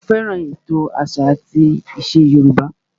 Mo fẹ́ràn ètò àṣà àti ìṣe Yorùbá